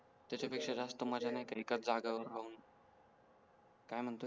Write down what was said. त्याच्या पेक्षा जास्त माझ्या नाही का एकच जाग्या वर राहून काय म्हणतोय